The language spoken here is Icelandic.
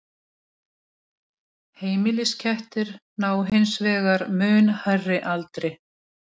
Heimiliskettir ná hins vegar mun hærri aldri.